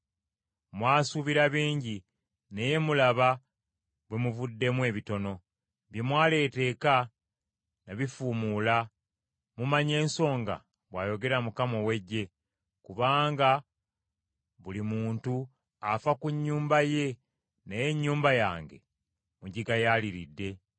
“Mwasuubira bingi, naye mulaba bwe muvuddemu ebitono. Bye mwaleeta eka, nabifuumuula. Mumanyi ensonga? bw’ayogera Mukama ow’Eggye. Kubanga buli muntu afa ku nnyumba ye naye ennyumba yange mugigayaaliridde.